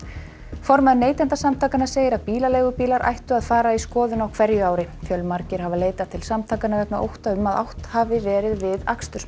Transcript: formaður Neytendasamtakanna segir að bílaleigubílar ættu að fara í skoðun á hverju ári fjölmargir hafa leitað til samtakanna vegna ótta um að átt hafi verið við